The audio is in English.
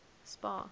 spar